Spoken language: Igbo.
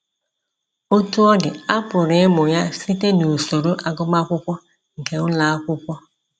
Otú ọ dị, a pụrụ ịmụ ya site n'usoro agụmakwụkwọ nke ụlọ akwụkwọ.